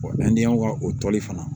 an ni yan ka o toli fana